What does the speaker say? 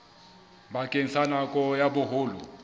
bakeng sa nako ya boholo